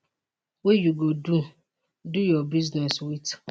wey you go do do your business wit